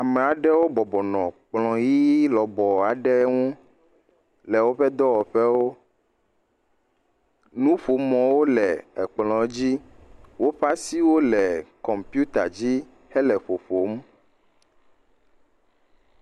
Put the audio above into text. Ameaɖewo bɔbɔ nɔ kplɔ ɣi legbe aɖe nu le woƒe dɔwɔƒewo nuƒomɔwo le kplɔ dzi woƒe asiwo le kɔmpuita dzi hele ƒoƒom